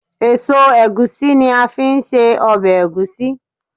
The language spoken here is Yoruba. eso egusi ni a fi n se obe egusi